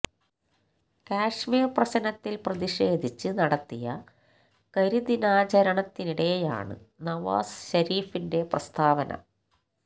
കശ്മീര് പ്രശ്നത്തില് പ്രതിഷേധിച്ച് നടത്തിയ കരിദിനാചരണത്തിനിടെയാണ് നവാസ് ശരീഫിന്റെ പ്രസ്താവന